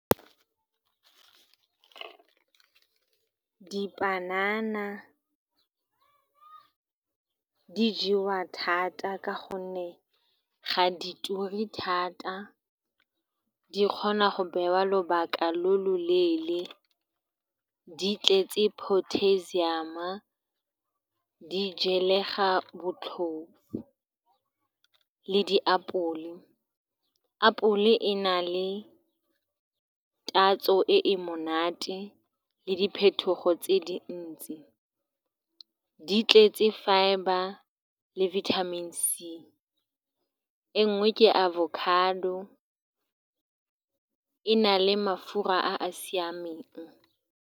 Dipanana di jewa thata ka gonne ga di ture thata, di kgona go beiwa lobaka lo loleele, di tletse potassium-a, gape di jalega botlhofo. Le diapole, apole di na le tatso e e monate le diphetogo tse dintsi, di tletse fibre le vitamin C. E nngwe ke avocado, e e nang le mafura a a siameng.